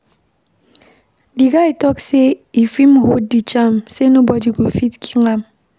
Di guy tok sey if im hold di charm sey nobodi go fit kill am.